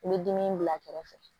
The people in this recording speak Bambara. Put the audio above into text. I bɛ dimi bila a kɛrɛfɛ